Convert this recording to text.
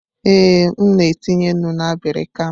Ee, m na etinye nnu na abirika m.